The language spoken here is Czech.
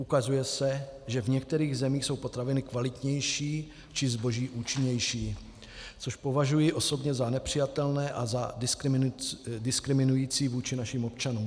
Ukazuje se, že v některých zemích jsou potraviny kvalitnější či zboží účinnější, což považuji osobně za nepřijatelné a za diskriminující vůči našim občanům.